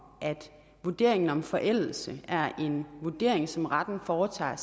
at vurderingen af om forældelse er en vurdering som retten foretager